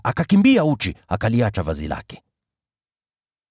alikimbia uchi, akaliacha vazi lake.